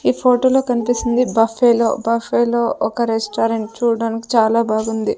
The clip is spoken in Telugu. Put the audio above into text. ఈ ఫోటోలో కనిపిస్తుంది బఫెలో బఫెలో ఒక రెస్టారెంట్ చూడడానికి చాలా బాగుంది.